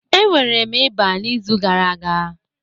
Enwere m ịba n'izu gara aga